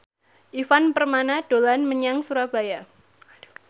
Ivan Permana dolan menyang Surabaya